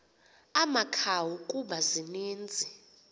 amakhawu kuba zininzi